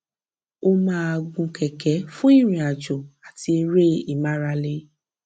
ó máa gun kẹkẹ fún ìrìnàjò àti eré ìmárale